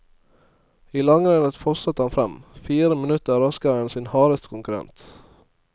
I langrennet fosset han frem, fire minutter raskere enn sin hardeste konkurrent.